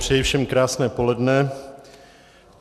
Přeji všem krásné poledne.